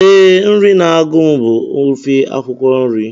Ee, nri na-agụ m bụ ofe akwụkwọ nri